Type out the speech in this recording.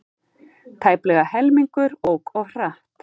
Tæplega helmingur ók of hratt